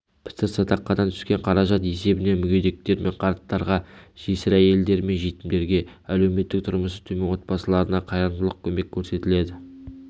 пітір-садақадан түскен қаражат есебінен мүгедектер мен қарттарға жесір әйелдер мен жетімдерге әлеуметтік тұрмысы төмен отбасыларына қайырымдылық көмек көрсетіледі